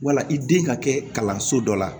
Wala i den ka kɛ kalanso dɔ la